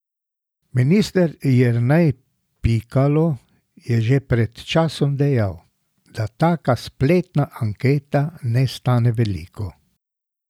Minister Jernej Pikalo je že pred časom dejal, da taka spletna anketa ne stane veliko.